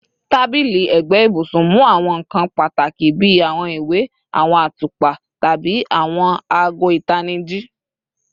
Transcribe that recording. Tabili ẹgbe ibusun mu awọn nkan pataki bi awọn iwe, awọn atupa, tabi awọn aago itaniji